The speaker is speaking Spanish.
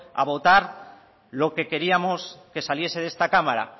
a votar lo que queríamos que saliese de esta cámara